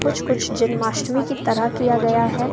कुछ कुछ जन्माष्टमी की तरह किया गया है।